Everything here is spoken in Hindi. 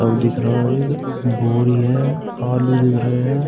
अब दिख रहा है। बोरी है आलू दिख रहे है।